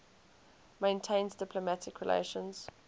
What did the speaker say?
maintains diplomatic relations